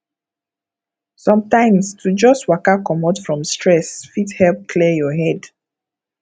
sometimes to just waka comot from stress fit help clear your head